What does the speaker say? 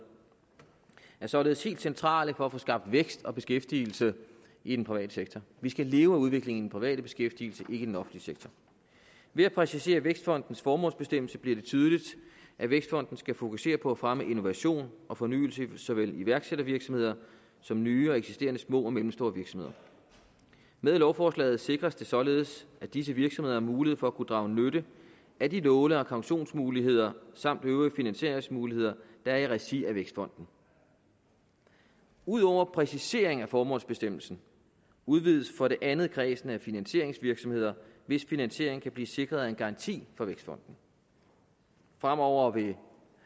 er således helt centrale for at få skabt vækst og beskæftigelse i den private sektor vi skal leve af udviklingen private beskæftigelse ikke den offentlige sektor ved at præcisere vækstfondens formålsbestemmelse bliver det tydeligt at vækstfonden skal fokusere på at fremme innovation og fornyelse i såvel iværksættervirksomheder som nye og eksisterende små og mellemstore virksomheder med lovforslaget sikres det således at disse virksomheder har mulighed for at kunne drage nytte af de låne og kautionsmuligheder samt øvrige finansieringsmuligheder der er i regi af vækstfonden ud over præcisering af formålsbestemmelsen udvides for det andet kredsen af finansieringsvirksomheder hvis finansiering kan blive sikret en garanti fra vækstfonden fremover vil